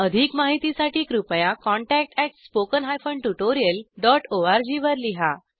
अधिक माहितीसाठी कृपया contact at spoken hyphen tutorial dot ORG वर लिहा